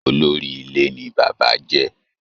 Olóri ilé ní bàbá jẹ́.